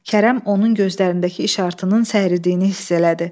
Kərəm onun gözlərindəki işartının səridiyini hiss elədi.